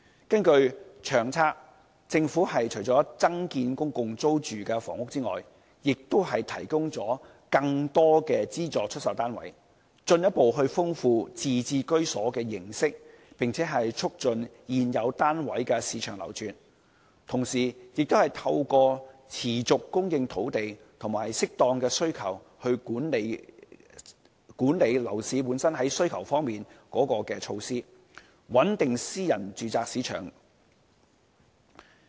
根據《長策》，政府除增建公共租住房屋外，亦提供了更多資助出售單位，進一步豐富自置居所的形式，並促進現有單位的市場流轉；同時，亦透過持續供應土地和適當管理樓市需求的措施，穩定私人住宅市場。